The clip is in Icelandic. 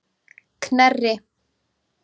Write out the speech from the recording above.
Knerri